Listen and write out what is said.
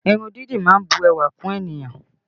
Irun dídì má ń bu ẹwà kún ènìyàn